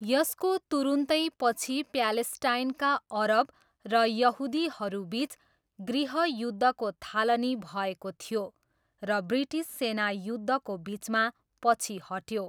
यसको तुरुन्तै पछि प्यालेस्टाइनका अरब र यहुदीहरूबिच गृहयुद्धको थालनी भएको थियो, र ब्रिटिस सेना युद्धको बिचमा पछि हट्यो।